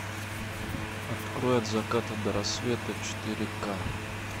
открой от заката до рассвета четыре к